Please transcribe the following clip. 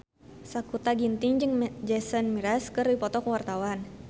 Sakutra Ginting jeung Jason Mraz keur dipoto ku wartawan